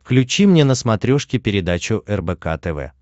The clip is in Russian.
включи мне на смотрешке передачу рбк тв